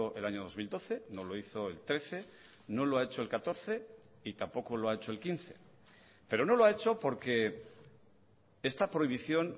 el año dos mil doce no lo hizo el trece no lo ha hecho el catorce y tampoco lo ha hecho el quince pero no lo ha hecho porque esta prohibición